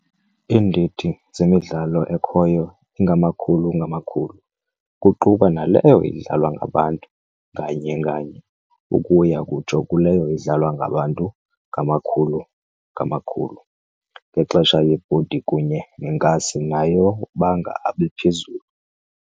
Iindidi zemidlalo ekhoyo ingamakhulu ngamakhulu, kuquka naleyo idlalwa ngabantu nganye nganye, ukuya kutsho kuleyo idlalwa ngabantu ngamakhulu abantu ngaxesha yebhodi kunye neenkasi nayo banga abe phezulu.